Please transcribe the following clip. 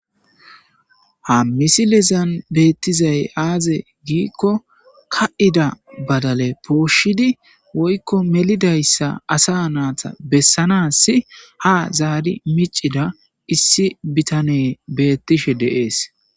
Ha misilezan beettizay aaze giikko ka7ida badale pooshidi woykko melidayssa asa naata bessanasi ha zaari micida issi bitane beettishe deees